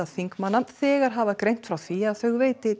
þingmanna þegar hafa greint frá því að þau veiti